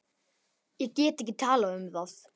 Ég get ekki talað um það.